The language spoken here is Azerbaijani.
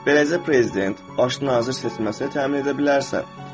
Beləcə prezident, başda nazir seçməsini təmin edə bilərsən.